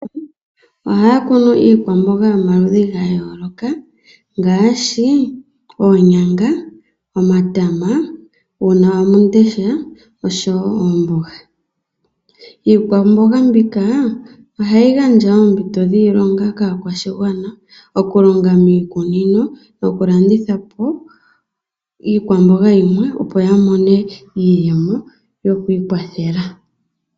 Aanikunino ohaakunu iikwambonga yayolokathana ngaashi oonyanga, omatama, uunawamundesha nosho woo oombonga. Iikwambonga mbika ohayi gandja oompito dhiilonga kaakwashigwana ngaashi okulonga miikunino, nokulanditha iikwambonga yimwe opo aantu yamone iiyemo yokwiikwathela.